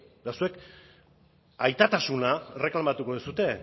eta zuek aitatasuna erreklamatuko duzue